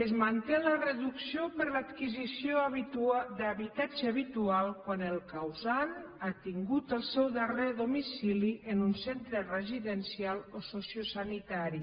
és manté la reducció per l’adquisició d’habitatge habitual quan el causant ha tingut el seu darrer domicili en un centre residencial o sociosanitari